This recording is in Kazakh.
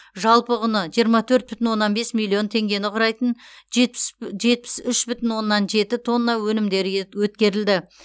жалпы құны жиырма төрт бүтін оннан бес миллион теңгені құрайтын жетпіс үш бүтін оннан жеті тонна өнімдері өткерілді